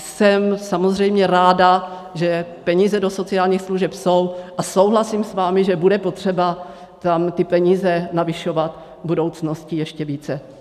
Jsem samozřejmě ráda, že peníze do sociálních služeb jsou a souhlasím s vámi, že bude potřeba tam ty peníze navyšovat v budoucnosti ještě více.